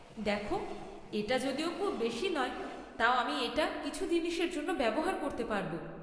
দেখ, এটা যদিও খুব বেশী নয়, তাও আমি এটা কিছু জিনিসের জন্য ব্যবহার করতে পারব।